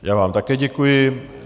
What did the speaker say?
Já vám také děkuji.